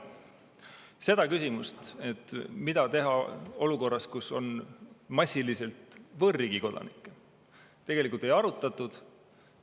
Seda küsimust, mida teha olukorras, kus on massiliselt võõrriigi kodanikke, tegelikult ei arutatud.